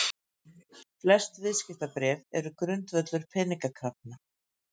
Flest viðskiptabréf eru grundvöllur peningakrafna.